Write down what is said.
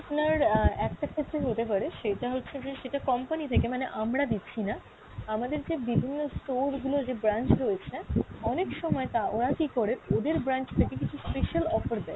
আপনার আহ একটা ক্ষেত্রে হতে পারে সেইটা হচ্ছে যে সেটা company থেকে মানে আমরা দিচ্ছি না, আমাদের যে বিভিন্ন store গুলো যে branch রয়েছে, অনেক সময় তা ওরা কী করে ওদের branch থেকে কিছু special offer দেয়